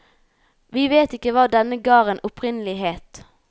Vi vet ikke hva denne garden opprinnelig het.